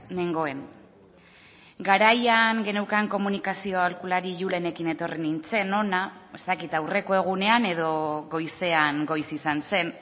nengoen garaian geneukan komunikazio aholkulari julenekin etorri nintzen hona ez dakit aurreko egunean edo goizean goiz izan zen